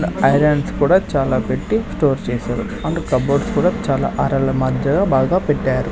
Irons కూడా చాలా పెట్టి స్టోర్ చేశారు అండ్ కబోర్డ్స్ కూడా చాలా అరల మధ్యలో బాగా పెట్టారు.